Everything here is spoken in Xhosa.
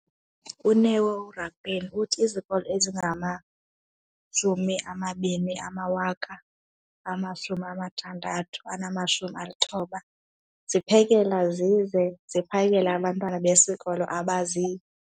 UNeo Rakwena, uthi izikolo ezingama-20 619 ziphekela zize ziphakele abantwana besikolo abazi-